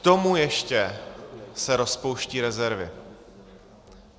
K tomu ještě se rozpouštějí rezervy.